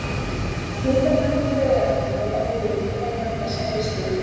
Hitanæmu taugaendarnir á húðinni greina þessa geislun.